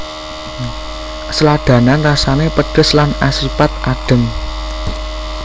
Sladanan rasane pedhes lan asipat adhem